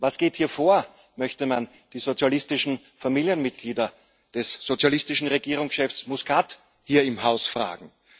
Was geht hier vor?, möchte man die sozialistischen Familienmitglieder des sozialistischen Regierungschefs Muscat hier im Haus fragen.